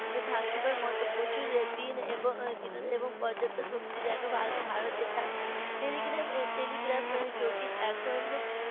থাকিবার মতো প্রচুর দিন এবং এবং কত পর্যাপ্ত শক্তি যেন ভার~ ভারতের থাকে telegram telegraph এ যে এখন